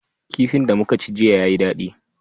Kifin da muka ci jiya yayi daɗi.